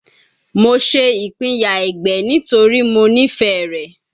Mo ṣe ipinya ẹgbẹ nitori Mo nifẹ rẹ